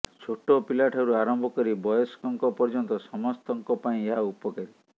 ଛୋଟ ପିଲାଠାରୁ ଆରମ୍ଭ କରି ବୟସ୍କଙ୍କ ପର୍ଯ୍ୟନ୍ତ ସମସ୍ତଙ୍କ ପାଇଁ ଏହା ଉପକାରୀ